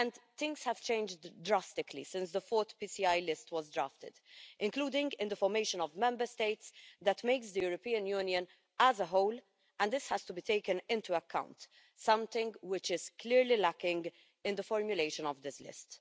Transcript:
Things have changed drastically since the fourth Projects of Common Interest list was drafted, including in the formation of Member States that makes the European Union as a whole, and this has to be taken into account, something which is clearly lacking in the formulation of this list.